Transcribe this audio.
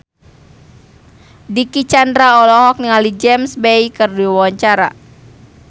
Dicky Chandra olohok ningali James Bay keur diwawancara